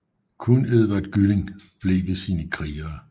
Kun Edvard Gylling blev ved sine krigere